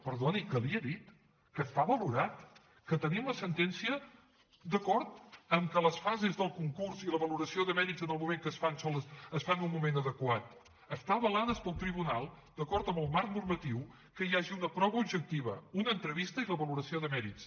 perdoni que li ho he dit que està valorat que tenim la sentència d’acord que les fases del concurs i la valoració de mèrits en el moment que es fan es fan en un moment adequat estan avalades pel tribunal d’acord amb el marc normatiu que hi hagi una prova objectiva una entrevista i la valoració de mèrits